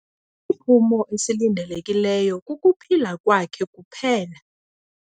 Isiphumo esilindelekileyo kukuphila kwakhe kuphela.